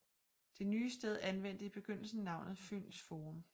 Det nye sted anvendte i begyndelsen navnet Fyns Forum